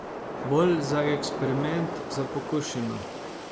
Bolj za eksperiment, za pokušino.